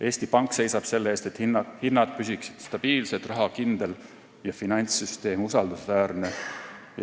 Eesti Pank seisab selle eest, et hinnad püsiksid stabiilsed, raha kindel ja finantssüsteem usaldusväärne.